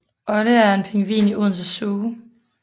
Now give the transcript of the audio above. Olde er en pingvin i Odense Zoo